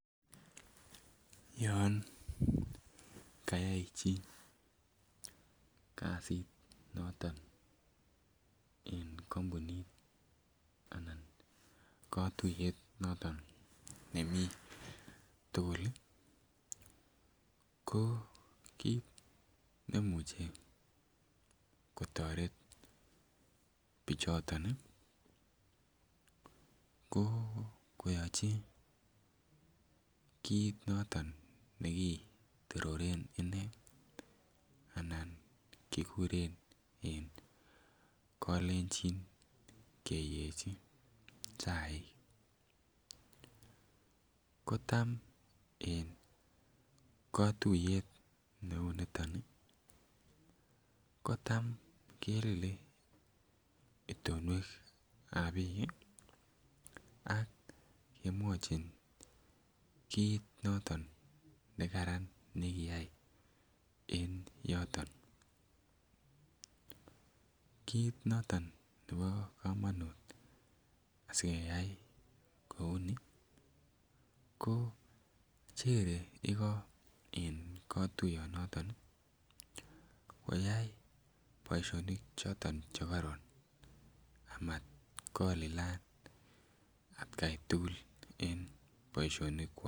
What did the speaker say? Yon kayay chi kazit noton en kompunit anan kotuyet noton nemii tuguk ii ko kit nemuche kotoret bichoton ii ko koyochi kit noton ne kitororen inee anan kiguren en kolenjin keyechi chaik. Kotam en kotuyet be uu niton ii kotam kelile itonwekab biik ii ak kemwochin kit noton ne karan ne kiyay en yoton. Kit noton nebo komonut asi keyay kouu ni ko chere igo en kotuyon noton ii koyay boisionik choton che koron amat kolilan atkai tugul en boisionikwak